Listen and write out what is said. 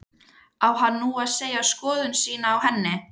Á hann nú að segja skoðun sína á henni?